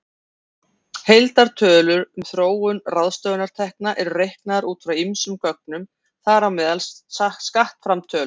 Heildartölur um þróun ráðstöfunartekna eru reiknaðar út frá ýmsum gögnum, þar á meðal skattframtölum.